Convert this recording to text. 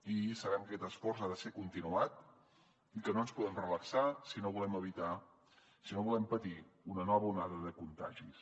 i sabem que aquest esforç ha de ser continuat i que no ens podem relaxar si no volem patir una nova onada de contagis